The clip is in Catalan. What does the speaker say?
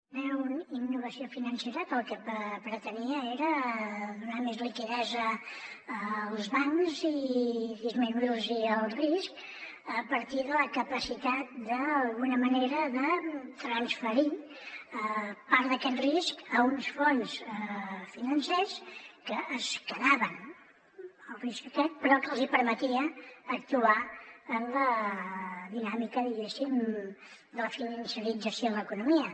era una innovació financera que el que pretenia era donar més liquiditat als bancs i disminuir los el risc a partir de la capacitat d’alguna manera de transferir part d’aquest risc a uns fons financers que es quedaven el risc aquest però que els hi permetia actuar en la dinàmica diguéssim de la financerització de l’economia